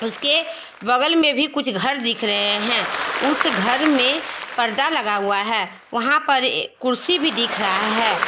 उसके बगल में भी कुछ घर दिख रहे हैं उस घर में पर्दा लगा हुआ है वहां पर कुर्सी भी दिख रहा है।